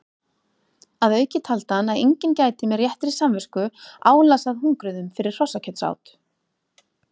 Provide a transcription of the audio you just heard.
Að auki taldi hann að enginn gæti með réttri samvisku álasað hungruðum fyrir hrossakjötsát.